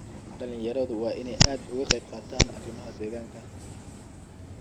Dhalinyaradu waa in ay aad uga qayb qaataan arimaha deegaanka.